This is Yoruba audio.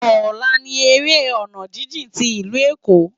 Òlá ni éré òná jijin ti Ilú Ékó